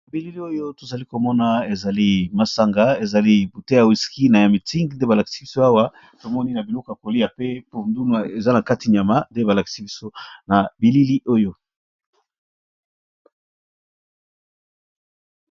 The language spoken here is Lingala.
Mesa oyo, eza kolakisa biso sani ezali na supu ya mbala na nyama. Pembeni milangi mibale. Moko ya wisky black label, na mulangi ya Heineken. Na sima ezali nde jeux de Bullard.